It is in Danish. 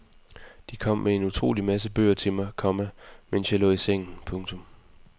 De kom med en utrolig masse bøger til mig, komma mens jeg lå i sengen. punktum